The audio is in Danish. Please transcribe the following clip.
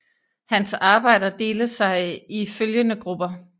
Hans arbejder dele sig i følgende grupper